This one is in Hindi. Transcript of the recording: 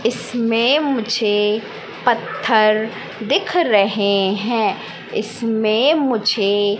इसमें मुझे पत्थर दिख रहें हैं इसमें मुझ